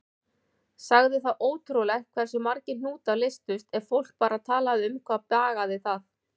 Sagði það ótrúlegt hversu margir hnútar leystust ef fólk bara talaði um hvað bagaði það.